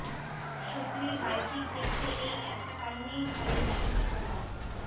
সচিনের বায়োপিক দেখতে এই একটা কারণেই হলে যাবেন সৌরভ